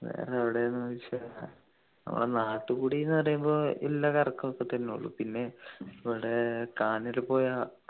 വേറെ എവിടെ ന്നു വെച്ചാ നമ്മളെ നാട്ട് കൂടി ന്നു പറയുമ്പോ ഇല്ല കറക്കമൊക്കെ തന്നെ ഉള്ളു പിന്നെ ഇവിടെ കാഞ്ഞിരപ്പുഴ